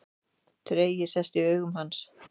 Tregi sest í augu hans.